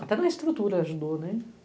Até na estrutura ajudou, né?